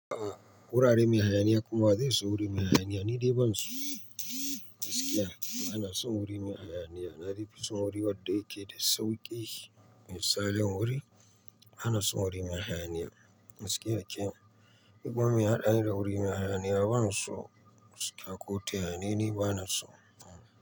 A'a wurare mai hayaniya kuma wa zai so wuri mai hayaniya ni dai ban so. Gaskiya bana son wuri mai hayaniya na dai fi son wuri wanda yake da sauƙi. Misalin wuri bana son wuri mai hayaniya. Gaskiya kenan, ni kuma meya haɗa ni da wuri mai hayaniya banso. Gaskiya ko tayaya ne ni bana so.